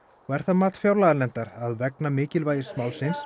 og er það mat fjárlaganefndar að vegna mikilvægis málsins